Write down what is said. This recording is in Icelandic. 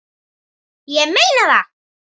Ég meina það!